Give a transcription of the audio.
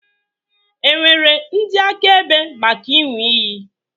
È nwere ndị akaebe maka ịṅụ iyi?